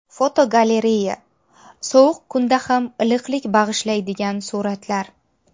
Fotogalereya: Sovuq kunda ham iliqlik bag‘ishlaydigan suratlar.